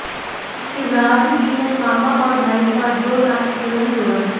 शिवराज जी ने मामा और भाई का जो नाता स्वयं जोड़ा है